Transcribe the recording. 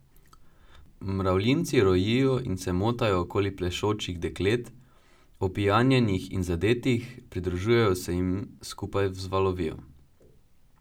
Mravljinci rojijo in se motajo okoli plešočih deklet, opijanjenih in zadetih, pridružujejo se jim, skupaj vzvalovijo.